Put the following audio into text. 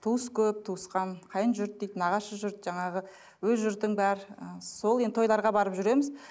туыс көп туысқан қайын жұрт дейді нағашы жұрт жаңағы өз жұртың бар ы сол енді тойларға барып жүреміз